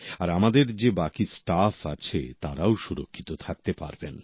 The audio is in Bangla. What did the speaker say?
আর আমাদের যে বাকি স্টাফ আছে তারাও সুরক্ষিত থাকতে পারেন